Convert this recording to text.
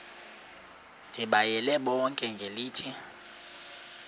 ndibayale bonke ngelithi